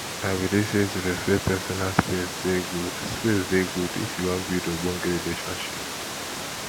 i believe sey to respect personal space dey good space dey good if you wan build ogbonge relationship